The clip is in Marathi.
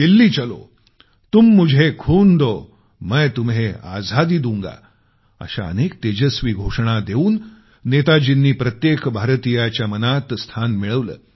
दिल्ली चलो तुम मुझे खून दो मै तुम्हे आझादी दूंगा अशा अनेक तेजस्वी घोषणा देऊन नेताजींनी प्रत्येक भारतीयाच्या मनात स्थान मिळवलं